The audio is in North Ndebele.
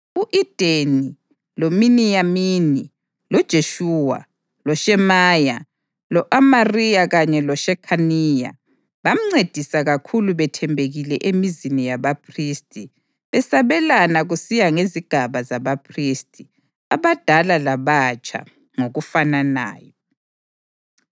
U-Edeni, loMiniyamini, loJeshuwa, loShemaya, lo-Amariya kanye loShekhaniya bamncedisa kakhulu bethembekile emizini yabaphristi, besabelana kusiya ngezigaba zabaphristi, abadala labatsha, ngokufananayo.